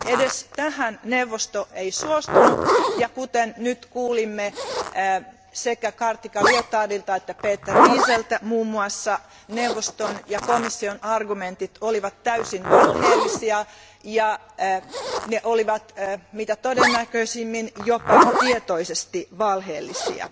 Edes tähän neuvosto ei suostunut, ja kuten nyt kuulimme muun muassa sekä Kartika Liotardilta että Peter Lieseltä, neuvoston ja komission argumentit olivat täysin valheellisia ja ne olivat mitä todennäköisimmin jopa tietoisesti valheellisia.